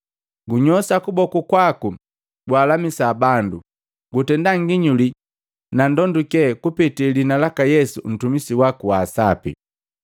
Gunyoshaa kuboku kwaku gwaalamisaa bandu. Gutendaa nginyuli na ndonduke kupetee liina laka Yesu Mtumisi waku wa Sapi.”